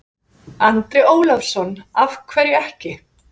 Andri Ólafsson: Af hverju ekki?